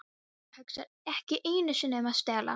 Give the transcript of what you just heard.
Það hugsar ekki einu sinni um að stela.